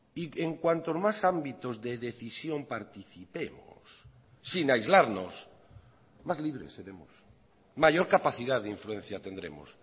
y en cuanto más ámbitos de decisión participemos sin aislarnos más libres seremos mayor capacidad de influencia tendremos